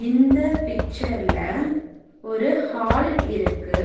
இந்த பிக்சர்ல ஒரு ஹால் இருக்கு.